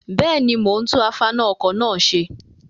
Bẹ́ẹ̀ni, mo ń tún afaná-ọkọ̀ náà ṣe.